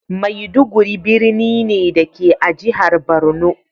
Maiduguri birni ne, da ke a jihar Borno.